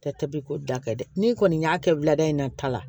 Tɛ tɛbi ko da kɛ dɛ n'i kɔni y'a kɛ wulada in na ta la